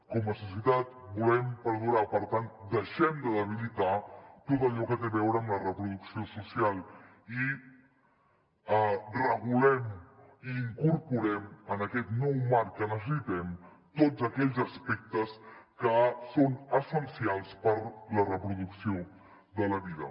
com a societat volem perdurar per tant deixem de debilitar tot allò que té a veure amb la reproducció social i regulem i incorporem en aquest nou marc que necessitem tots aquells aspectes que són essencials per a la reproducció de la vida